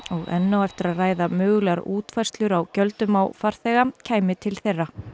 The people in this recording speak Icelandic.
enn á eftir að ræða mögulegar útfærslur á gjöldum á farþega kæmi til þeirra